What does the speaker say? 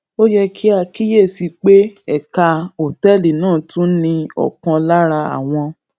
ó yẹ kí a kíyè sí i pé ẹka òtéèlì náà tún ní ọkan lára àwọn